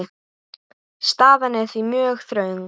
Staðan er því mjög þröng.